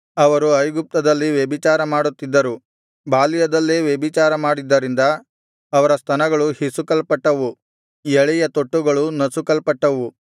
ಅವರು ಐಗುಪ್ತದಲ್ಲಿ ವ್ಯಭಿಚಾರ ಮಾಡುತ್ತಿದ್ದರು ಬಾಲ್ಯದಲ್ಲೇ ವ್ಯಭಿಚಾರ ಮಾಡಿದ್ದರಿಂದ ಅವರ ಸ್ತನಗಳು ಹಿಸುಕಲ್ಪಟ್ಟವು ಎಳೆಯ ತೊಟ್ಟುಗಳು ನಸುಕಲ್ಪಟ್ಟವು